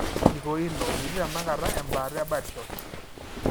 Kikoino, metii tenakata embaata ebirdshot.